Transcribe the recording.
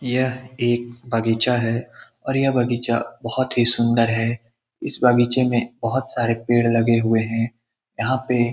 यह एक बगीचा है और यह बगीचा बहुत ही सुन्दर है। इस बगीचे में बहुत सारे पेड़ लगे हुए हैं। यहाँ पे --